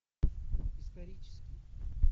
исторический